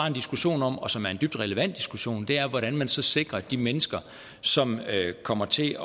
en diskussion om og som er en dybt relevant diskussion er hvordan man så sikrer de mennesker som jo kommer til